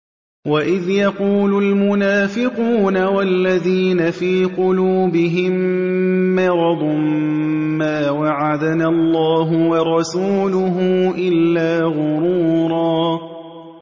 وَإِذْ يَقُولُ الْمُنَافِقُونَ وَالَّذِينَ فِي قُلُوبِهِم مَّرَضٌ مَّا وَعَدَنَا اللَّهُ وَرَسُولُهُ إِلَّا غُرُورًا